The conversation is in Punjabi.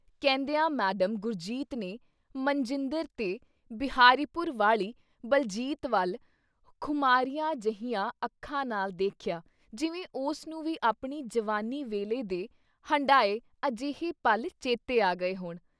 ਕਹਿੰਦਿਆਂ ਮੈਡਮ ਗੁਰਜੀਤ ਨੇ ਮਨਜਿੰਦਰ ਤੇ ਬਿਹਾਰੀਪੁਰ ਵਾਲੀ ਬਲਜੀਤ ਵੱਲ ਖੁਮਾਰੀਆਂ ਜਿਹੀਆਂ ਅੱਖਾਂ ਨਾਲ ਦੇਖਿਆ ਜਿਵੇਂ ਉਸ ਨੂੰ ਵੀ ਆਪਣੀ ਜਵਾਨੀ ਵੇਲੇ ਦੇ ਹੰਢਾਏ ਅਜੇਹੇ ਪਲ ਚੇਤੇ ਆ ਗਏ ਹੋਣ।